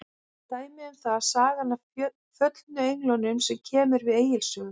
Dæmi um það er sagan af föllnu englunum sem kemur við Egils sögu.